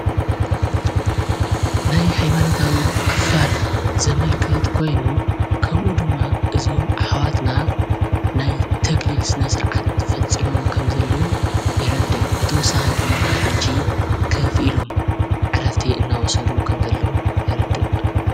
ናይ ኃይማነታዊ ክፋል ዘመልክ ትኮይኑ ከምኡ ድማ እዝም ኣኅዋትና ናይ ተግሊል ስነ ሥርዓት ፈጺሞም ከም ዘለዉ የረድእ ብተወሳኺይ ድማ ሕጅ ክፊ ኢሎም ዕራፍቲ እናወሰዱ ከም ዘለዉ የረድእ።